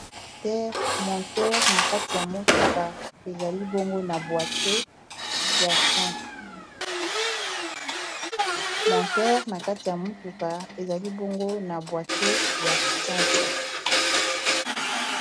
moteur na kati ya motuka ezali bongo na boitier ya frein.